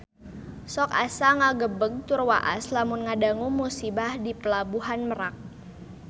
Sok asa ngagebeg tur waas lamun ngadangu musibah di Pelabuhan Merak